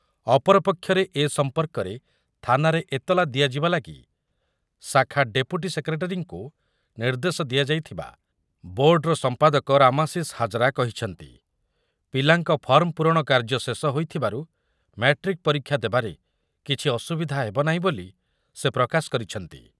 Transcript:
ଅପର ପକ୍ଷରେ ଏ ସମ୍ପର୍କରେ ଥାନାରେ ଏତଲା ଦିଆଯିବା ଲାଗି ଶାଖା ଡେପୁଟି ସେକ୍ରେଟେରୀଙ୍କୁ ନିର୍ଦ୍ଦେଶ ଦିଆଯାଇଥିବା ବୋର୍ଡ଼ର ସମ୍ପାଦକ ରାମାଶିଷ ହାଜରା କହିଛନ୍ତି। ପିଲାଙ୍କ ଫର୍ମ ପୂରଣ କାର୍ଯ୍ୟ ଶେଷ ହୋଇଥିବାରୁ ମ୍ୟାଟ୍ରିକ୍ ପରୀକ୍ଷା ଦେବାରେ କିଛି ଅସୁବିଧା ହେବ ନାହିଁ ବୋଲି ସେ ପ୍ରକାଶ କରିଛନ୍ତି ।